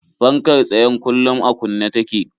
Fankar tsayen kullum a kunne take.